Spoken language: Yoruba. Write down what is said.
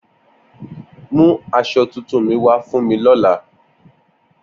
Mu aso tuntun mi wa fun mi lola